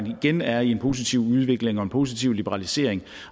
igen er i en positiv udvikling og en positiv liberalisering